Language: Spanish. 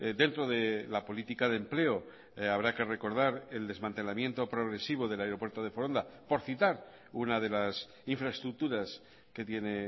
dentro de la política de empleo habrá que recordar el desmantelamiento progresivo del aeropuerto de foronda por citar una de las infraestructuras que tiene